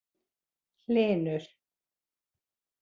Hlynur